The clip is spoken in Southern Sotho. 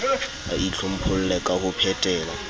a itlhompholle ka ho phetela